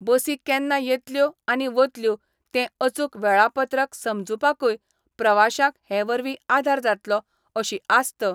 बसी केन्ना येतल्यो आनी वतल्यो तें अचूक वेळापत्रक समजुपाकुय प्रवाश्यांक हे वरवीं आधार जातलो अशी आस्त